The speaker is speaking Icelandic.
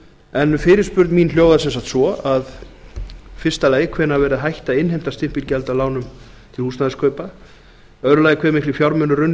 en fyrirspurn mín hljóðar sem sagt svo að í fyrsta lagi hvenær verði hætt að innheimta stimpilgjöld af lánum til húsnæðiskaupa í öðru lagi hve miklir fjármunir runnu í ríkissjóð